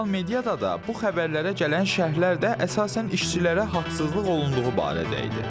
Sosial mediada da bu xəbərlərə gələn şərhlər də əsasən işçilərə haqsızlıq olunduğu barədə idi.